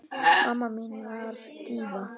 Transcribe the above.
Mamma mín var díva.